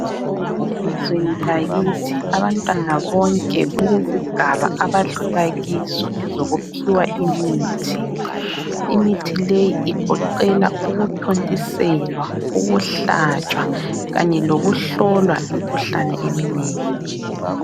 Elizweni lakithi abantwana bonke kulezigaba abadlula kizo ezokuphiwa imithi. Imithileyi egoqela ukuthontiselwa, ukuhlatshwa kanye lokuhlolwa imikhuhlane eminengi